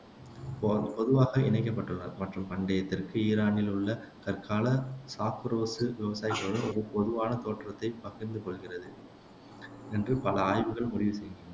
பொ பொதுவாக இணைக்கப்பட்டுள்ளனர் மற்றும் பண்டைய தெற்கு ஈரானில் உள்ள கற்கால சாக்குரோசு விவசாயிகளுடன் ஒரு பொதுவான தோற்றத்தைப் பகிர்ந்து கொள்கிறது என்று பல ஆய்வுகள் முடிவு செய்கின்றன